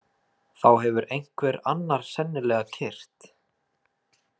Þá hefur einhver annar sennilega keyrt.